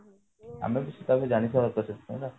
ଆମେ ବି